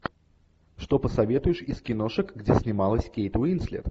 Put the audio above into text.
что посоветуешь из киношек где снималась кейт уинслет